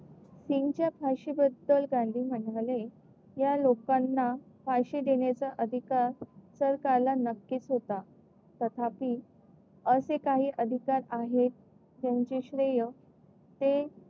सिंग च्या फाशी बद्दल गांधी म्हणाले या लोकांना फाशी देण्याचा अधिकार सरकारला नक्कीच होता तथापि असे काही अधिकार आहेत. त्यांचे श्रेय ते